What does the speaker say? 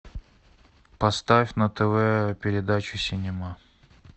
поставь на тв передачу синема